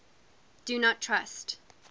do not trust